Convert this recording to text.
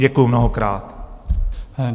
Děkuju mnohokrát.